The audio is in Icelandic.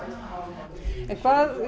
en hvað